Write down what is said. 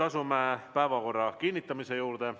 Asume päevakorra kinnitamise juurde.